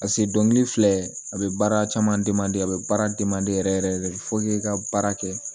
pase dɔnkili filɛ a be baara caman a be baara yɛrɛ yɛrɛ de fo k'i ka baara kɛ